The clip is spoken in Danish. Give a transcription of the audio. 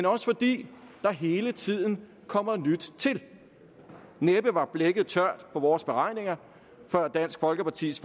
også fordi der hele tiden kommer nyt til næppe var blækket tørt på vores beregninger før dansk folkepartis